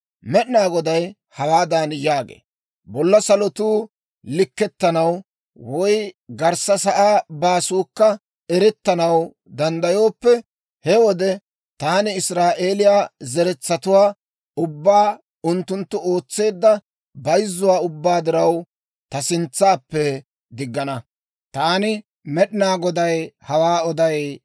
Med'inaa Goday hawaadan yaagee; «Bolla salotuu likkettanaw, woy garssa sa'aa baasuukka erettanaw danddayooppe, he wode taani Israa'eeliyaa zeretsatuwaa ubbaa, unttunttu ootseedda bayzzuwaa ubbaa diraw, ta sintsappe diggana. Taani Med'inaa Goday hawaa oday» yaagee.